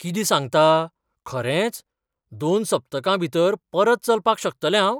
कितें सांगतां, खरेंच? दोन सप्तकांभीतर परत चलपाक शकतलें हांव?